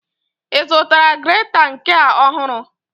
Ị zụtara greta nke a ohuru?